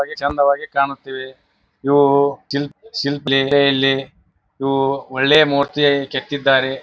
ಹಾಗೆ ಚೆಂದವಾಗಿ ಕಾಣುತ್ತೇವೆ ಇವು ಶಿಲ್ಪ್ ಲೀಲೆಯ ಲ್ಲಿ ಇವು ಒಳ್ಳೆಯ ಮರ್ತಿಯ ಕೆತ್ತಿದ್ದ್ದಾರೆ.